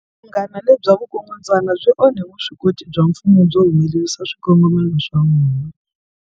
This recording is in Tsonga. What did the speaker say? Vunghana lebya vukungundzwana byi onhe vuswikoti bya mfumo byo humelerisa swikongomelo swa wona.